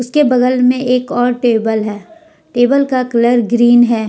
के बगल मे एक और टेबल है टेबल का कलर ग्रीन है।